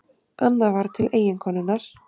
Annað var til eiginkonunnar.